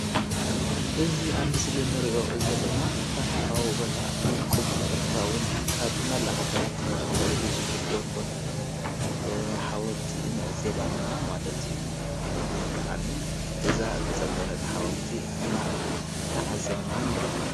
እዚ ኣብ ምስሊ እንሪኦ ዘለና ታሪካዊ ቦታ ውቅብን ተፈታዊን ካብ መላእ ሃገራት ንዕኡ ክሪኡ ዝብህግዎ ቦታ እዩ፡፡ ሓወልቲ ንዕዘብ ኣለና ማለት እዩ፡፡ ደስ ዝብለካ ዝተፀገነ ሓወልቲ ድማ እንዳተዓዘብና ንርከብ።